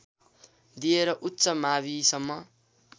दिएर उच्च माविसम्म